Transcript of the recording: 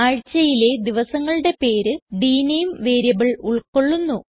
ആഴ്ച്ചയിലെ ദിവസങ്ങളുടെ പേര് ഡ്നേം വേരിയബിൾ ഉൾകൊള്ളുന്നു